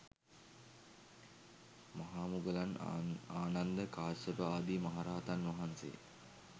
මහා මුලගන්, ආනන්ද, කාශ්‍යප ආදි මහා රහතන් වහන්සේ